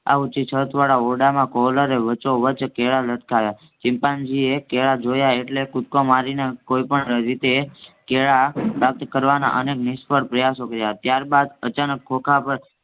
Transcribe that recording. આ ઉંચી છત વાળા ઓરડામાં કોહલરે વચોવચ કેળા લટકાવ્યા ચિમ્પાન્જીએ કેળા જોયા એટલે કૂદકો મારીને કોઈ પણ રીતે કેળા પ્રાપ્ત કરવાના અનેકે નિસ્ફળ પપ્રયાસો કર્યા ત્યાર બાદ અચાનક ખોખા પર